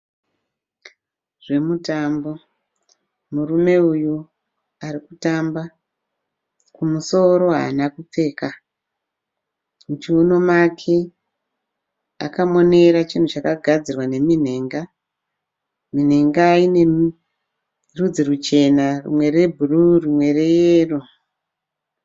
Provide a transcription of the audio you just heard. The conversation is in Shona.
Zvemutambo. Murume uyu arikutamba. Kumusoro haana kupfeka. Muchiuno make akamonera chinhu chakagadzirwa neminhenga. Minhenga ine rudzi ruchena rimwe rwebhuruu rumwe reyero.